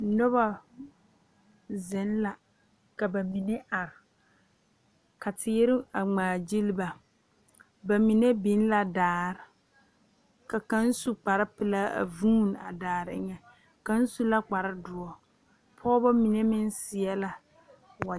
Noba zeŋ la ka ba mine are ka teere a ŋmaagyili ba ba mine biŋ la daare ka kaŋ su kparepelaa a vuuni a daare eŋɛ kaŋ su la kparedoɔ pɔgeba mine meŋ seɛ la wag.